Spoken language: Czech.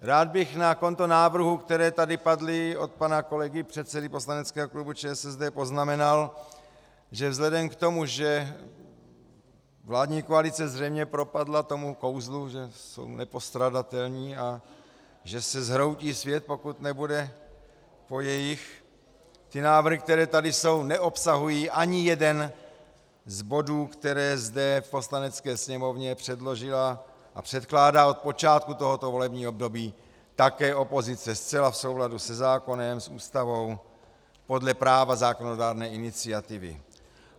Rád bych na konto návrhů, které tady padly od pana kolegy předsedy poslaneckého klubu ČSSD, poznamenal, že vzhledem k tomu, že vládní koalice zřejmě propadla tomu kouzlu, že jsou nepostradatelní a že se zhroutí svět, pokud nebude po jejich, ty návrhy, které tady jsou, neobsahují ani jeden z bodů, které zde v Poslanecké sněmovně předložila a předkládá od počátku tohoto volebního období také opozice, zcela v souladu se zákonem, s Ústavou, podle práva zákonodárné iniciativy.